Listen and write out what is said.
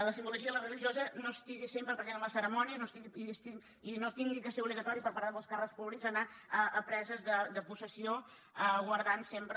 la simbologia religiosa no estigui sempre present en les cerimònies i no hagi de ser obligatori per part de molts càrrecs públics anar a preses de possessió guardant sempre